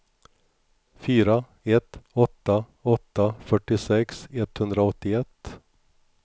fyra ett åtta åtta fyrtiosex etthundraåttioett